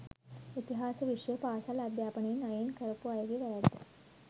ඉතිහාස විෂය පාසල් අධ්‍යාපනයෙන් අයින් කරපු අයගේ වැරැද්ද